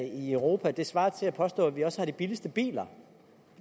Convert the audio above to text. i europa svarer til at påstå at vi også har de billigste biler